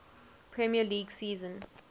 premier league season